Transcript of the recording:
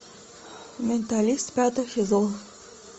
менталист пятый сезон